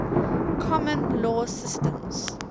common law systems